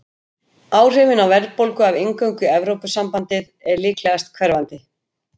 Áhrifin á verðbólgu af inngöngu í Evrópusambandið eru líklegast hverfandi.